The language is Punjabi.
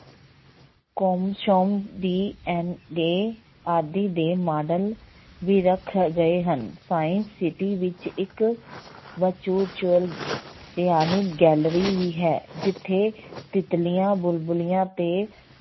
ਆਦਿ ਦੇ ਮਾਡਲ ਵੀ ਰੱਖੇ ਗਏ ਹਨ science city ਵਿੱਚ ਇੱਕ ਭਿਆਨਕ gallery ਵੀ ਹੈ, ਜਿੱਥੇ ਤਿੱਤਲੀਆਂ, ਬੁਲਬਲੀਆਂ ਤੇ